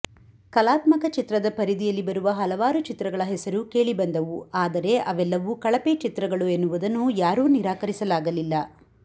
ಕಲಾತ್ಮಕ ಚಿತ್ರದ ಪರಿಧಿಯಲ್ಲಿ ಬರುವ ಹಲವಾರು ಚಿತ್ರಗಳ ಹೆಸರು ಕೇಳಿಬಂದವು ಆದರೆ ಅವೆಲ್ಲವೂ ಕಳಪೆ ಚಿತ್ರಗಳು ಎನ್ನುವುದನ್ನು ಯಾರೂ ನಿರಾಕರಿಸಲಾಗಲಿಲ್ಲ